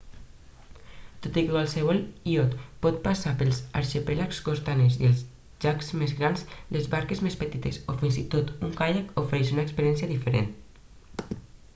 tot i que qualsevol iot pot passar pels arxipèlags costaners i els llacs més grans les barques més petites o fins i tot un caiac ofereixen una experiència diferent